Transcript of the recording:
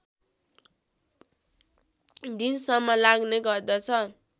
दिनसम्म लाग्ने गर्दछ